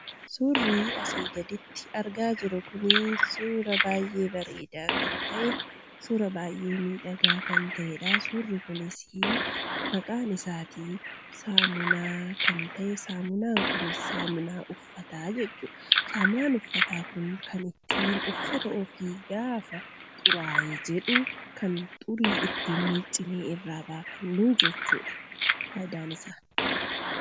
Suurri asii gaditti argaa jirru kun suuraa baay'ee bareedaa kan ta'e, suuraa baay'ee miidhagaa kan ta'edha. Suurri kunis maqaan isaatii saamunaa kan ta'e saamunaan kunis kan uffataati. Saamunaan uffataa kun kan ittiin uffata ofii gaafa xuraayee jedhu kan ittiin xurii miiccinee irraa baafannuu jechuudha fayidaan isaa.